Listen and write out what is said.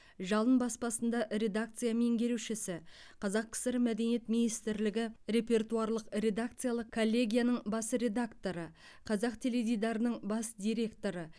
жалын баспасында редакция меңгерушісі қазақ кср мәдениет министрлігі репертуарлық редакциялық коллегияның бас редакторы қазақ теледидарының бас директоры